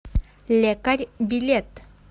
лекарь билет